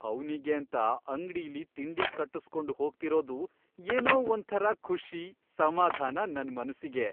ಅವ್ನಿಗೇಂತ ಅಂಗ್ಡಿಲಿ ತಿಂಡಿ ಕಟ್ಟುಸ್ಕೊಂಡ್ ಹೋಗ್ತಿರೋದು ಏನೋ ಒಂಥರ ಖುಷಿ, ಸಮಾಧಾನ ನನ್ ಮನ್ಸಿಗೆ.